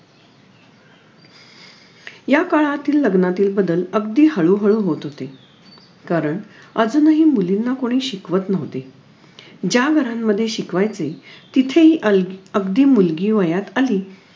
या काळातील लग्नातील बदल अगदी हळू हळू होत होते कारण अजूनही मुलींना कोणी शिकवत नव्हते ज्या घरांमध्ये शिकवायचे तिथेही अल्गी अगदी मुलगी वयात आली